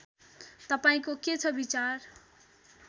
तपाईँको के छ विचार